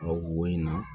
Wo in na